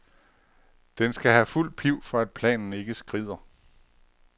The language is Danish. Den skal have fuld piv, for at planen ikke skrider.